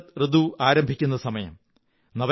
ശരത് ഋതു ആരംഭിക്കുന്നസമയം